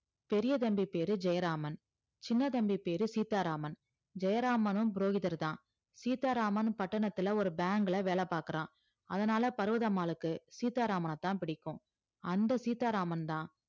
பெரிய தம்பி பேரு ஜெயராமன் சின்ன தம்பி பேரு சீதாராமன் ஜெயராமனும் புரோகிதர்தான் சீதாராமன் பட்டணத்தில ஒரு bank ல வேல பாக்குறான் அதனால பர்வதம்மாளுக்கு சீதாராமனைத்தான் பிடிக்கும் அந்த சீதாராமன் தான்